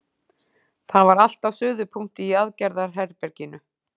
Það var allt á suðupunkti í aðgerðaherberginu.